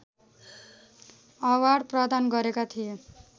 award प्रदान गरेका थिए